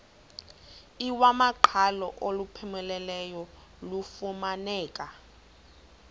iwamaqhalo olupheleleyo lufumaneka